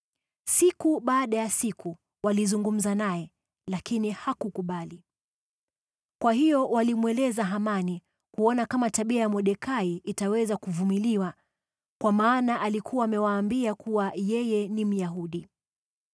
Siku baada ya siku walizungumza naye lakini hakukubali. Kwa hiyo walimweleza Hamani kuona kama tabia ya Mordekai itaweza kuvumiliwa, kwa maana alikuwa amewaambia kuwa yeye ni Myahudi.